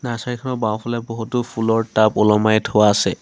নাৰ্চাৰীখনৰ বাওঁফালে বহুতো ফুলৰ টাব ওলমাই থোৱা আছে।